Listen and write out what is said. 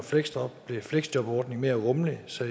blev fleksjobordningen mere rummelig så